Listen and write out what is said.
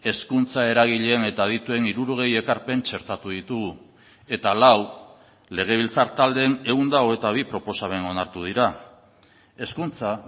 hezkuntza eragileen eta adituen hirurogei ekarpen txertatu ditugu eta lau legebiltzar taldeen ehun eta hogeita bi proposamen onartu dira hezkuntza